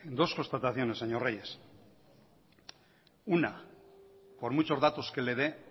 dos constataciones señor reyes una por muchos datos que le dé